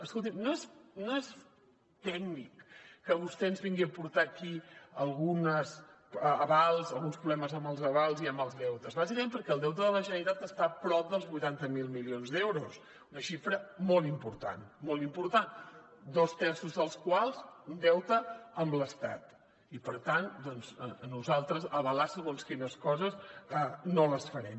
escolti no és tècnic que vostè ens vingui a portar aquí alguns avals alguns problemes amb els avals i amb els deutes bàsicament perquè el deute de la generalitat està prop dels vuitanta mil milions d’euros una xifra molt important molt important dos terços dels quals un deute amb l’estat i per tant nosaltres avalar segons quines coses no les farem